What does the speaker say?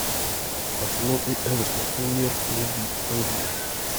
арсенал и эвертон премьер лиги англии